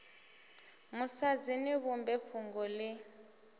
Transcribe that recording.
musadzi ni vhumbe fhungo ḽi